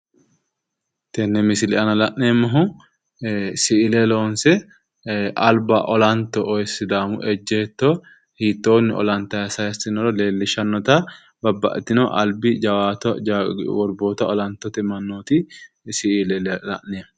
tenne misile aana la'neemmohu si'ile loonse alba olanto sidaamu ejeetto hiittoonni olantayi sayiissinoro leellishshannota babbaxxitino albi jawaata worboota olantote mannooti siile la'neemmo